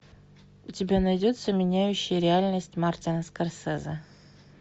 у тебя найдется меняющие реальность мартина скорсезе